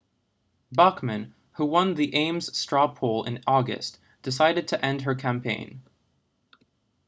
bachmann who won the ames straw poll in august decided to end her campaign